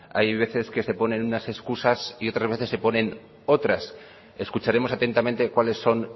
hay veces que se ponen unas excusas y otras veces se ponen otras escucharemos atentamente cuáles son